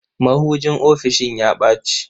Mahujin ofisishin ya ɓaci.